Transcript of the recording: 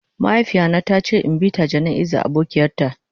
Mahaifiya na ta ce in bi ta jana'iza abokian ta.